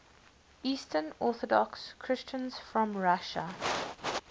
eastern orthodox christians from russia